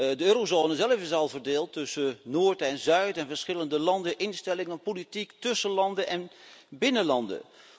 De eurozone zelf is al verdeeld tussen noord en zuid en verschillende landen, instellingen, politiek tussen landen en binnen landen.